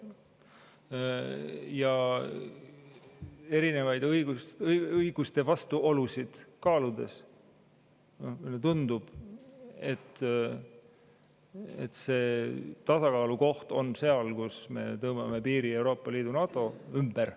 Ja erinevaid õiguste vastuolusid kaaludes tundub, et tasakaalukoht on seal, kus me tõmbame piiri Euroopa Liidu ja NATO ümber.